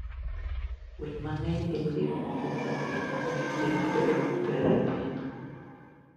Winy mang'eny gin moko kuom gik mamiyo ngima bedo maber e piny.